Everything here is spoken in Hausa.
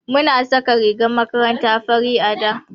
Muna saka rigar makaranta fari a da.